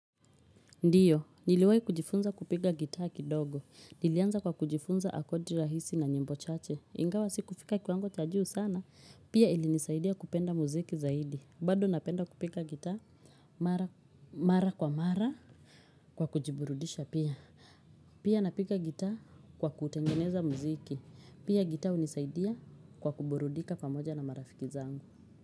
Ndiyo, niliwai kujifunza kupiga gitaa kidogo. Nilianza kwa kujifunza akodi rahisi na nyembo chache. Ingawa, si kufika kwanga cha juu sana. Pia ilinisaidia kupenda muziki zaidi. Bado napenda kupiga gitaa mara kwa mara kwa kujiburudisha pia. Pia napiga gitaa kwa kutengeneza muziki. Pia gitaa hunisaidia kwa kuburudika pamoja na marafiki zangu.